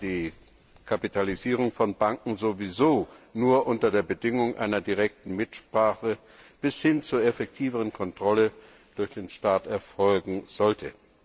die Kapitalisierung von Banken sowieso nur unter der Bedingung einer direkten Mitsprache bis hin zur effektiveren Kontrolle durch den Staat erfolgen sollte.